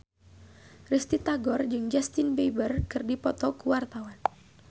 Risty Tagor jeung Justin Beiber keur dipoto ku wartawan